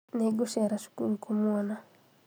nĩngũcera cukuru kũmuona